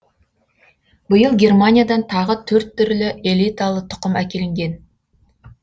биыл германиядан тағы төрт түрлі элиталы тұқым әкелінген